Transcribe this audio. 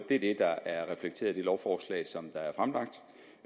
er det der er reflekteret i det lovforslag som